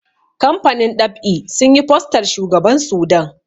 kamfanin ɗab'i sun yi fostar shugaban Sudan